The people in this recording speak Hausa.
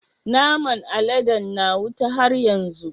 Naman aladen na wuta har yanzu?